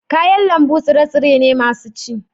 kayan lambu tsire-tsire ne masu ci